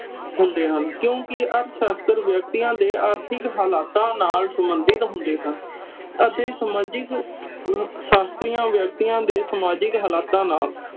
ਹੁੰਦੇ ਹਨ। ਕਿਉਕਿ ਅਰਥ ਸ਼ਾਸਤਰ ਵਿਅਕਤੀਆਂ ਦੇ ਆਰਥਿਕ ਹਾਲਾਤਾਂ ਨਾਲ ਸੰਬੰਧਤ ਹੁੰਦੇ ਹਨ ਅਤੇ ਸਮਾਜਿਕ ਸ਼ਾਸਤਰੀਆਂ ਵਿਅਕਤੀਆਂ ਦੇ ਸਮਾਜਿਕ ਹਾਲਾਤਾਂ ਨਾਲ